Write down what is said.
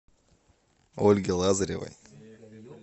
ольге лазаревой